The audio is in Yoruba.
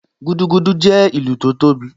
Gúdúgúdú jẹ́ ìlù tó tóbi